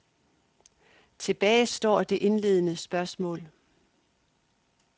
Tilbage står det indledende spørgsmål.